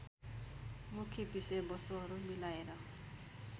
मुख्य विषयवस्तुहरू मिलाएर